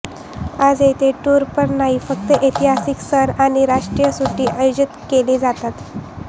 आज येथे टूर पण नाही फक्त ऐतिहासिक सण आणि राष्ट्रीय सुटी आयोजित केले जातात